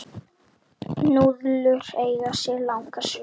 Núðlur eiga sér langa sögu.